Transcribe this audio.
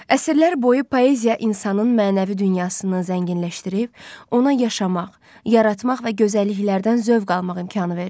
Əsrlər boyu poeziya insanın mənəvi dünyasını zənginləşdirib, ona yaşamaq, yaratmaq və gözəlliklərdən zövq almaq imkanı verib.